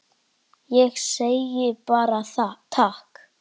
Ég segi bara takk.